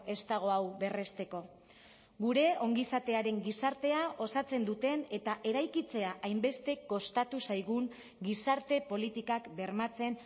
ez dago hau berresteko gure ongizatearen gizartea osatzen duten eta eraikitzea hainbeste kostatu zaigun gizarte politikak bermatzen